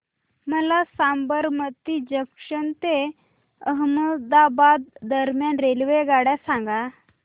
मला साबरमती जंक्शन ते अहमदाबाद दरम्यान रेल्वेगाड्या सांगा